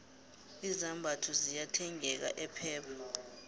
izambatho ziyathengeka epep